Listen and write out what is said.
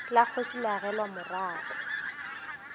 la kgoši le agelwa morako